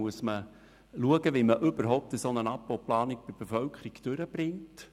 Man muss schauen, wie man eine solche Abbauplanung bei der Bevölkerung überhaupt durchbringt.